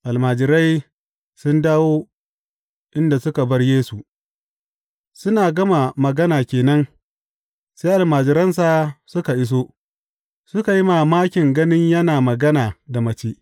Almajirai sun dawo inda suka bar Yesu Suna gama magana ke nan sai almajiransa suka iso, suka yi mamakin ganin yana magana da mace.